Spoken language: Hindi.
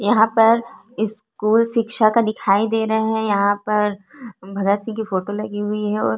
यहाँ पर स्कूल शिक्षा का दिखाई दे रहा है यहाँ पर भगत सिंह की फोटो लगी हुई है और --